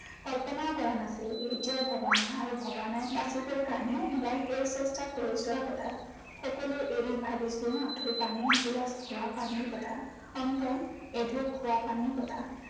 কল্পনাও কৰা নাছিলো, এতিয়াও ভবা নাই আৰু ভবা নাই বাচি যোৱাৰ কাৰনে বা শেষ চেষ্টা কৰি যোৱাৰ কথা। সকলো এৰি ভাবিছো মাথো পানী এগিলাছ, খোৱা পানীৰ কথা। অন্ততঃ এঢোক খোৱা পানীৰ কথা